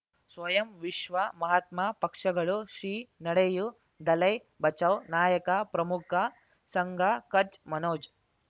ಸ್ವಯಂ ವಿಶ್ವ ಮಹಾತ್ಮ ಪಕ್ಷಗಳು ಶ್ರೀ ನಡೆಯೂ ದಲೈ ಬಚೌ ನಾಯಕ ಪ್ರಮುಖ ಸಂಘ ಕಚ್ ಮನೋಜ್